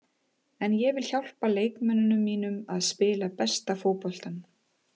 En ég vil hjálpa leikmönnunum mínum að spila besta fótboltann.